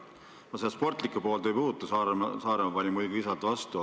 Ma sportlikku poolt ei puuduta, Saaremaa pani muidugi visalt vastu.